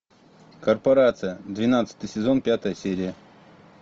корпорация двенадцатый сезон пятая серия